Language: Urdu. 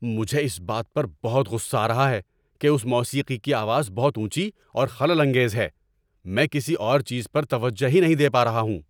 مجھے اس بات پر بہت غصہ آ رہا ہے کہ اس موسیقی کی آواز بہت اونچی اور خلل انگیز ہے۔ میں کسی اور چیز پر توجہ ہی نہیں دے پا رہا ہوں۔